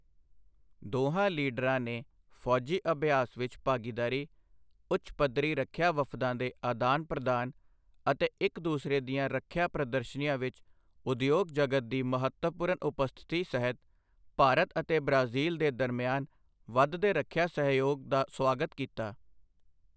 ਦੋਹਾਂ ਲੀਡਰਾਂ ਨੇ ਫ਼ੌਜੀ ਅਭਿਆਸ ਵਿੱਚ ਭਾਗੀਦਾਰੀ, ਉੱਚ ਪੱਧਰੀ ਰੱਖਿਆ ਵਫ਼ਦਾਂ ਦੇ ਅਦਾਨ ਪ੍ਰਦਾਨ ਅਤੇ ਇੱਕ ਦੂਸਰੇ ਦੀਆਂ ਰੱਖਿਆ ਪ੍ਰਦਰਸ਼ਨੀਆਂ ਵਿੱਚ ਉਦਯੋਗ ਜਗਤ ਦੀ ਮਹੱਤਵਪੂਰਨ ਉਪਸਥਿਤੀ ਸਹਿਤ ਭਾਰਤ ਅਤੇ ਬ੍ਰਾਜ਼ੀਲ ਦੇ ਦਰਮਿਆਨ ਵਧਦੇ ਰੱਖਿਆ ਸਹਿਯੋਗ ਦਾ ਸੁਆਗਤ ਕੀਤਾ।